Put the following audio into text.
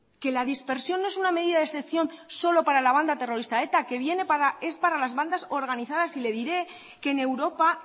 que la dispersión no es una medida de excepción solo para la banda terrorista eta es para las bandas organizadas y le diré que en europa